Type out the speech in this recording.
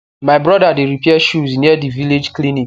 my brother de repair shoes near the village clinic